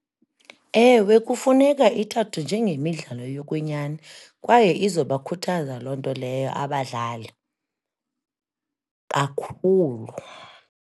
Ewe kufuneka ithathwe njengemidlalo yokwenyani, kwaye izobakhuthaza loo nto leyo abadlali kakhulu.